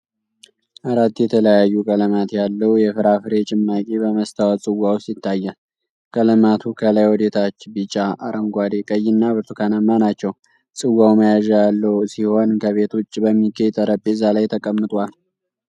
አራት የተለያዩ ቀለማት ያለው የፍራፍሬ ጭማቂ በመስታወት ጽዋ ውስጥ ይታያል። ቀለማቱ ከላይ ወደ ታች ቢጫ፣ አረንጓዴ፣ ቀይና ብርቱካናማ ናቸው። ጽዋው መያዣ ያለው ሲሆን፣ ከቤት ውጭ በሚገኝ ጠረጴዛ ላይ ተቀምጧል።